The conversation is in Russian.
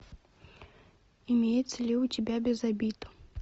имеется ли у тебя без обид